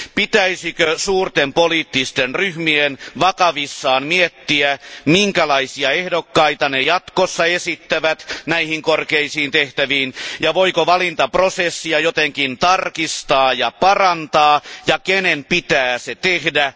Pitäisikö suurten poliittisten ryhmien vakavissaan miettiä, minkälaisia ehdokkaita ne jatkossa esittävät korkeisiin tehtäviin, voiko valintaprosessia jotenkin tarkistaa ja parantaa ja kenen pitää se tehdä?